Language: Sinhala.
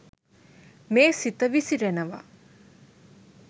මේ සිත විසිරෙනවා.